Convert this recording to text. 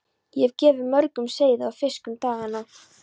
Ég hef gefið mörgum seiði og fisk um dagana.